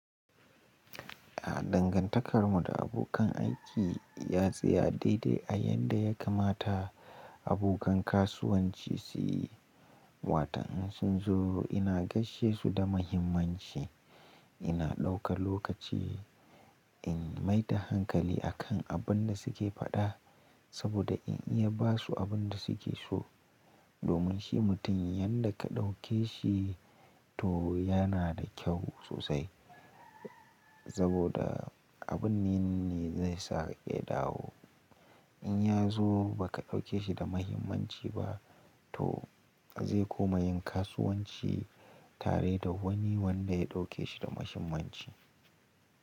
Dangantakarmu da abokan aiki ya tsaya daidai a yadda ya kamata abokan kasuwanci su yi. Watan in sun zo ina gaishe su da muhimmanci, ina ɗauka lokaci in maida hankali akan abin da suke faɗa saboda in iya ba su abin da suke so. Domin shi mutum yanda ka ɗauke shi to yana da kyau sosai saboda abun nan ne zai saka ƙedawo. In ya zo ba ka ɗauke shi da muhimmanci ba to zai koma yin kasuwanci tare da wani wanda ya ɗauke shi da muhimmanci.